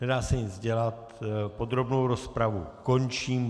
Nedá se nic dělat, podrobnou rozpravu končím.